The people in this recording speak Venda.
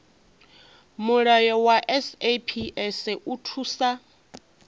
mulayo wa saps u thusa